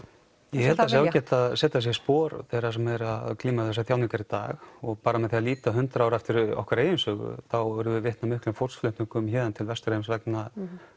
ég held það sé ágætt að setja sig í spor þeirra sem eru að glíma við þessar þjáningar í dag og bara með því að líta hundrað ár aftur í okkar eigin sögu þá urðum við vitni af miklum fólksflutningum héðan til Vesturheims vegna